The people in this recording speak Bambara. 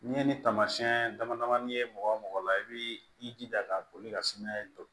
N'i ye ni taamasiyɛn dama damani ye mɔgɔ mɔgɔ la i bi i jija ka boli ka sumaya to